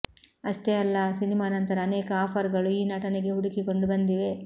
ಅಷ್ಟೆ ಅಲ್ಲ ಆ ಸಿನಿಮಾ ನಂಥರ ಅನೇಕ ಆಫರ್ ಗಳು ಈ ನಟನಿಗೆ ಹುಡುಕಿಕೊಂಡು ಬಂದಿವೆ